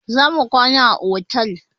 Za mu kwana a otel.